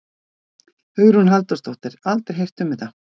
Hugrún Halldórsdóttir: Aldrei heyrt um þetta?